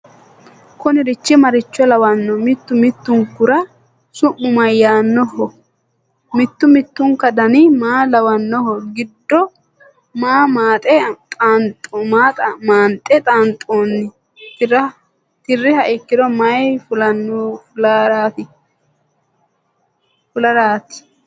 Kunirichi maricho lawanno? Mittu mittunkura su'mu mayaannoha? Mittu mittunku danni maa lawannoho? giddo maa maaxe xaanixoonni? tiriiha ikkiro mayi fularaatti?